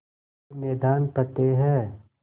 हर मैदान फ़तेह